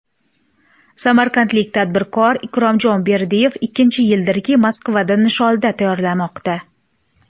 Samarqandlik tadbirkor Ikromjon Berdiyev ikkinchi yildirki Moskvada nisholda tayyorlamoqda.